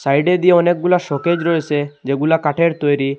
সাইডে দিয়ে অনেকগুলা শোকেজ রয়েসে যেগুলা কাঠের তৈরি।